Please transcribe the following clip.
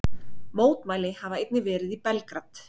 Mótmæli hafa einnig verið í Belgrad